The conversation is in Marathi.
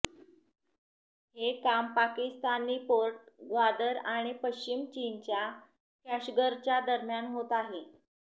हे काम पाकिस्तानी पोर्ट ग्वादर आणि पश्चिम चीनच्या कॅशगरच्या दरम्यान होत आहे